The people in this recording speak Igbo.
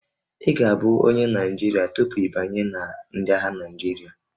Ị ga-abụ onye Naịjirịa tupu ị banye na ndị agha Naịjirịa